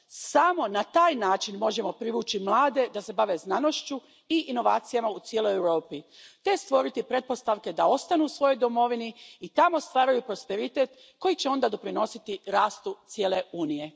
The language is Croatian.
Samo na taj način možemo privući mlade da se bave znanošću i inovacijama u cijeloj Europi te stvoriti pretpostavke da ostanu u svojoj domovini i tamo stvaraju prosperitet koji će onda doprinositi rastu cijele Unije.